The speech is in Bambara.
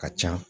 Ka ca